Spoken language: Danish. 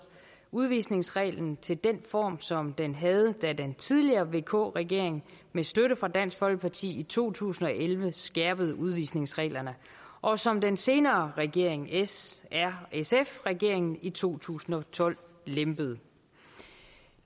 udvisningsreglen til den form som den havde da den tidligere vk regering med støtte fra dansk folkeparti i to tusind og elleve skærpede udvisningsreglerne og som den senere regering s r sf regeringen i to tusind og tolv lempede